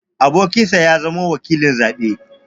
Abokinsa ya zamo wakilin zaɓe.